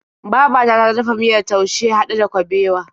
Babata ta dafa miyar taushe haɗe da kabewa.